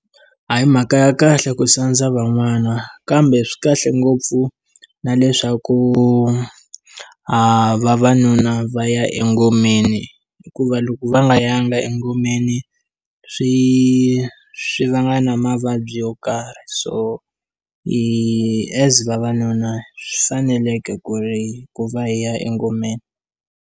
A hi mhaka ya kahle ku sandza van'wana kambe swikahle ngopfu na leswaku vavanuna va ya engomeni hikuva loko va nga yanga engomeni swi swi vanga na mavabyi yo karhi so hi as vavanuna swi faneleke ku ri ku va hi ya engomeni.